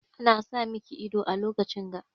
Ana sa miki ido a lokacin ga.